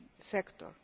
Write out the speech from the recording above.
enter the